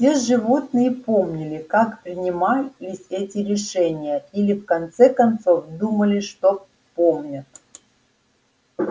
все животные помнили как принимались эти решения или в конце концов думали что помнят